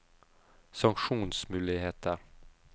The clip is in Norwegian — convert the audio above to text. sanksjonsmuligheter